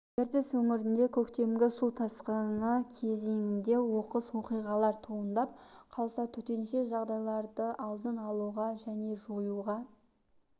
ертіс өңірінде көктемгі су тасқыны кезеңінде оқыс оқиғалар туындап қалса төтенше жағдайларды алдын алуға және жоюға